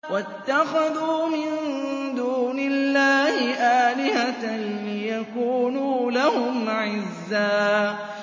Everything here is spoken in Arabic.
وَاتَّخَذُوا مِن دُونِ اللَّهِ آلِهَةً لِّيَكُونُوا لَهُمْ عِزًّا